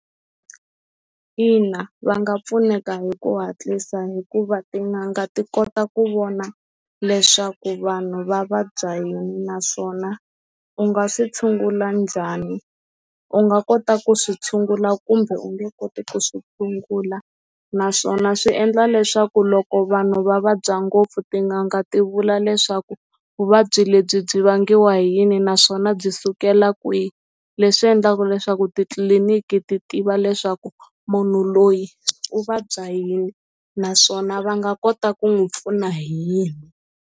Ina va nga pfuneka hi ku hatlisa hikuva tin'anga ti kota ku vona leswaku vanhu va vabya hi naswona u nga si tshungula njhani u nga kota ku swi tshungula kumbe u nge koti ku swi tshungula naswona swi endla leswaku loko vanhu va vabya ngopfu tin'anga ti vula leswaku vuvabyi lebyi byi vangiwa hi yini naswona byi sukela kwihi leswi endlaka leswaku titliliniki ti tiva leswaku munhu loyi u vabya yini naswona va nga kota ku n'wi pfuna hi yini.